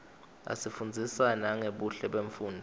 asifundzisa nangebuhle bemfunduo